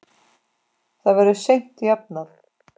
Það verður seint jafnað.